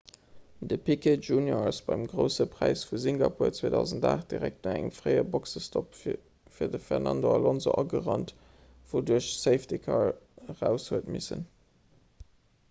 de piquet jr ass beim grousse präis vu singapur 2008 direkt no engem fréie boxestopp fir de fernando alonso agerannt wouduerch de safety-car eraus huet missen